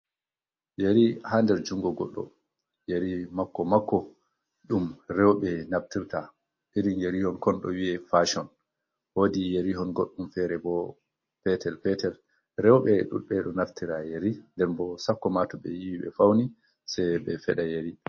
Yeri ha nder jungo godɗo, yeri makko makko ɗum rewɓe naftirta, irin yerihon kon ɗo wiwe fashon wodi yarihon godɗum fere bo petel petel, rewɓe ɗudɓe ɗo naftira yeri, nden boo sakko ma to ɓe yiwi ɓe fauni sei ɓe feda yeri.